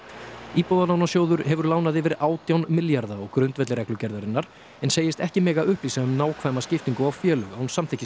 íbúðalánasjóður hefur lánað yfir átján milljarða á grundvelli reglugerðarinnar en segist ekki mega upplýsa um nákvæma skiptingu á félög án samþykkis